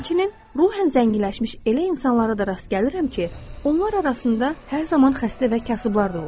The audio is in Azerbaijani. Həmçinin ruhən zənginləşmiş elə insanlara da rast gəlirəm ki, onlar arasında hər zaman xəstə və kasıblar da olur.